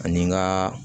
Ani n ka